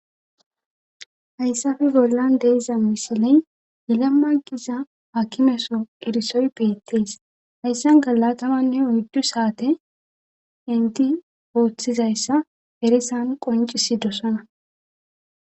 hayssafe bollan de'za misiley yelemma giza hakimeso erisoy beettees hayssan galatamanne uyddu saate enti ooththizayssa erisan qoncisi dosona